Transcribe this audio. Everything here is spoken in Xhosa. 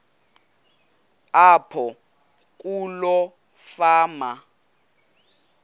apho kuloo fama